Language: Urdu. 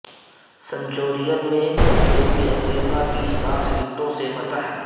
سنچورین میں جنوبی افریقہ کی سات وکٹوں سے فتح